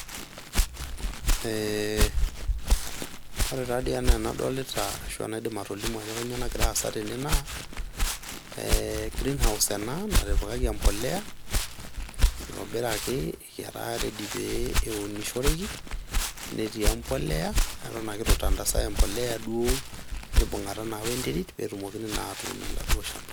Ee ore taadii enaa enadolita ashuaa enaidim atejo kainyioo nagira aasa tene naa green house ena natipikaki empolea ,itobiraki etaa ready pee eunishoreki ,netii empolea eton ake itu tangasae empolea duo mibungata wenterit petumoki naa atuun oladuoo shamba.